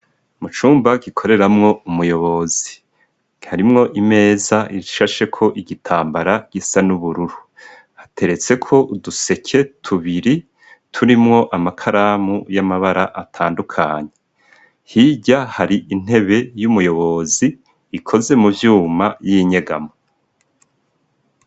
Mucumba gikoreramwo umuyobozi harimwo imeza ishashe ko igitambara gisa nubururu ateretse ko uduseke tubiri turimwo amakaramu y'amabara atandukanye hijya hari intebe y'umuyobozi ikoze mu byuma y'inyegamo.